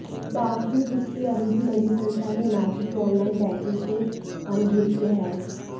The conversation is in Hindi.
बावजूद इसके अभी भी बड़ी संख्या में हिमाचली ऑनलाइन बैंकिंग से अनभिज्ञ हैं